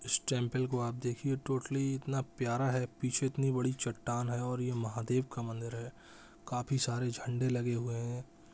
इस टेंपल को आप देखिए टोटली इतना प्यार है पीछे इतनी बड़ी चट्टान है और ये महादेव का मंदिर है काफी सारे झंडे लगे हुए हैं ।